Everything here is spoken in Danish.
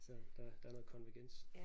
Så der der er noget konvergens